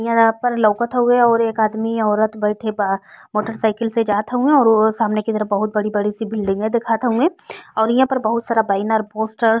इहां पर लउकत हउये और एक आदमी औरत बैठे बा मोटरसाइकिल से जात हउये और आहे सामने की तरफ बहुत बड़ी-बड़ी बिल्डिंग दिखात हुउए और इहाँ पर बहुत सारा बैनर पोस्टर --